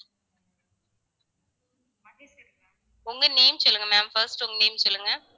உங்க name சொல்லுங்க ma'am first உங்க name சொல்லுங்க